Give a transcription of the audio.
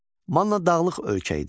Manna dağlıq ölkə idi.